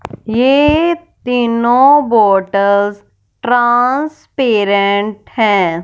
ये तीनों bottles transparent हैं।